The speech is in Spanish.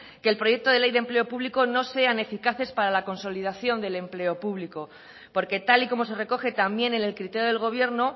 que el proyecto de ley de empleo público no sean eficaces para la consolidación del empleo público porque tal y como se recoge también en el criterio del gobierno